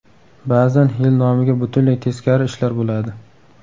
Ba’zan yil nomiga butunlay teskari ishlar bo‘ladi.